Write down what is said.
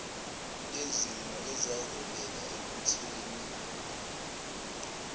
yezimo ezaholela ekuthenini